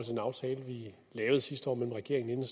den aftale vi lavede sidste år mellem regeringen